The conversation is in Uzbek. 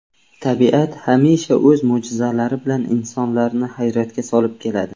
Tabiat hamisha o‘z mo‘jizalari bilan insonlarni hayratga solib keladi.